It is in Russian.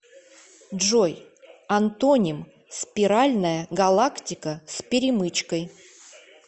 джой антоним спиральная галактика с перемычкой